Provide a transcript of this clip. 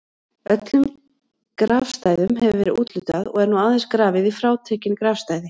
Öllum grafstæðum hefur verið úthlutað og er nú aðeins grafið í frátekin grafstæði.